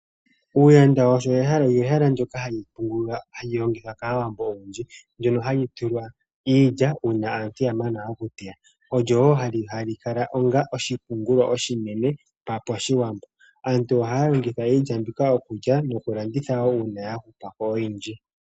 Uuyanda olyo ehala ndjoka hali longithwa kAawambo oyendji ndono hali tulwa iilya uuna aantu ya mana okuteya. Olyo woo hali kala onga oshipungulwa oshinene pashiwambo. Aantu ohaya longitha iilya mbika okulya nokulanditha woo uuna yahupapo oyindji.